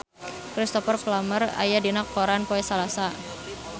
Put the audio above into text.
Cristhoper Plumer aya dina koran poe Salasa